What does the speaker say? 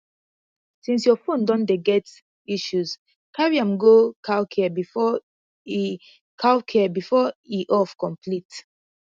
since your phone don dey get issues carry am go calcare before e calcare before e off complete